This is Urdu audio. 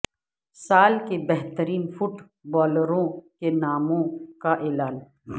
سال کے بہترین فٹ بالروں کےناموں کا اعلان